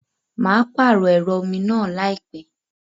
Mà á pààrọ̀ ẹ̀rọ omi náà láìpẹ́.